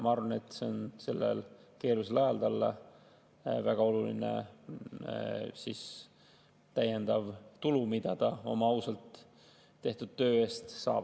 Ma arvan, et see on sellel keerulisel ajal talle väga oluline täiendav tulu, mida ta oma ausalt tehtud töö eest saab.